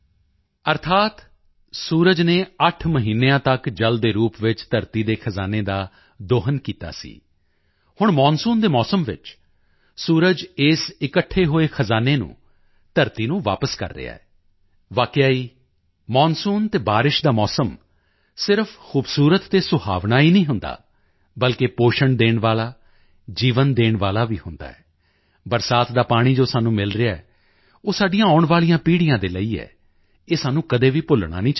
ਅਰਥਾਤ ਸੂਰਜ ਨੇ 8 ਮਹੀਨਿਆਂ ਤੱਕ ਜਲ ਦੇ ਰੂਪ ਵਿੱਚ ਧਰਤੀ ਦੇ ਖਜ਼ਾਨੇ ਦਾ ਦੋਹਨ ਕੀਤਾ ਸੀ ਹੁਣ ਮੌਨਸੂਨ ਦੇ ਮੌਸਮ ਵਿੱਚ ਸੂਰਜ ਇਸ ਇਕੱਠੇ ਹੋਏ ਖਜ਼ਾਨੇ ਨੂੰ ਧਰਤੀ ਨੂੰ ਵਾਪਸ ਕਰ ਰਿਹਾ ਹੈ ਵਾਕਿਆ ਹੀ ਮੌਨਸੂਨ ਅਤੇ ਬਾਰਿਸ਼ ਦਾ ਮੌਸਮ ਸਿਰਫ ਖੂਬਸੂਰਤ ਤੇ ਸੁਹਾਵਣਾ ਹੀ ਨਹੀਂ ਹੁੰਦਾ ਬਲਕਿ ਪੋਸ਼ਣ ਦੇਣ ਵਾਲਾ ਜੀਵਨ ਦੇਣ ਵਾਲਾ ਵੀ ਹੁੰਦਾ ਹੈ ਬਰਸਾਤ ਦਾ ਪਾਣੀ ਜੋ ਸਾਨੂੰ ਮਿਲ ਰਿਹਾ ਹੈ ਉਹ ਸਾਡੀਆਂ ਆਉਣ ਵਾਲੀਆਂ ਪੀੜ੍ਹੀਆਂ ਦੇ ਲਈ ਹੈ ਇਹ ਸਾਨੂੰ ਕਦੇ ਵੀ ਨਹੀਂ ਭੁੱਲਣਾ ਚਾਹੀਦਾ